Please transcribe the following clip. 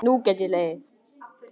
Nú get ég hlegið.